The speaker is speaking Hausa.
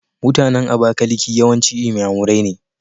MutAnan abakaliki yawanci inyamurai ne